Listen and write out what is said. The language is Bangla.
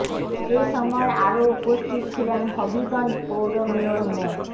এ সময় আরো উপস্থিত ছিলেন হবিগঞ্জ পৌর মেয়র মো